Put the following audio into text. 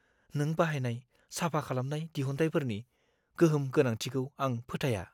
नों बाहायनाय साफा खालामनाय दिहुनथायफोरनि गोहोम गोनांथिखौ आं फोथाया।